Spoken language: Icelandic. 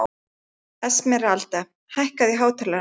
Esmeralda, hækkaðu í hátalaranum.